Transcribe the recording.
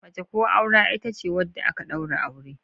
Mace ko aura ita ce wadda aka daura aure.